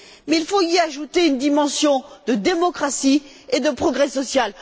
Il faut y ajouter une dimension de démocratie et de progrès social.